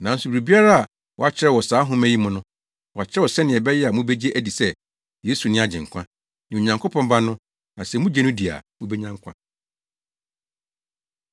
Nanso biribiara a wɔakyerɛw wɔ saa nhoma yi mu no, wɔakyerɛw sɛnea ɛbɛyɛ a mubegye adi sɛ, Yesu ne Agyenkwa, ne Onyankopɔn Ba no; na sɛ mugye no di a, mubenya nkwa.